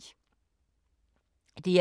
DR2